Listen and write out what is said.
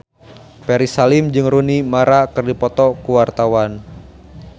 Ferry Salim jeung Rooney Mara keur dipoto ku wartawan